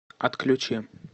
отключи